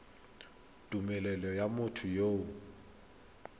tumelelo ya motho yo o